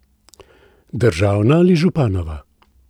Državna ali županova?